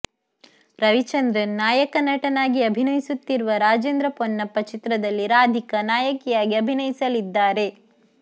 ರವಿಚಂದ್ರನ್ ನಾಯಕ ನಟನಾಗಿ ಅಭಿನಯಿಸುತ್ತಿರುವ ರಾಜೇಂದ್ರ ಪೊನ್ನಪ್ಪ ಚಿತ್ರದಲ್ಲಿ ರಾಧಿಕಾ ನಾಯಕಿಯಾಗಿ ಅಭಿನಯಿಸಲಿದ್ದಾರೆ